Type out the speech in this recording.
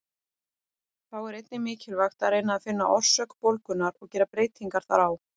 Þá er einnig mikilvægt að reyna að finna orsök bólgunnar og gera breytingar þar á.